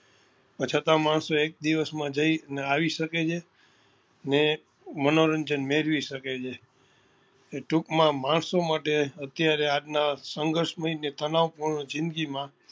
છતાં માણસો એક દિવસ માં જઈ ને આવી શકે છે ને મનોરંજન મેળવી શકે છે એટલે ટૂંક માં માણસો માટે અત્યારે આજ નાં જે સંઘર્ષમય ને તનાવ પૂર્ણ જિંદગી માં